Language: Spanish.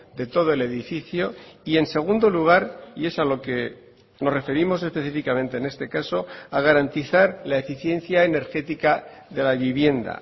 de todo el edificio y en segundo lugar y es a lo que nos referimos específicamente en este caso a garantizar la eficiencia energética de la vivienda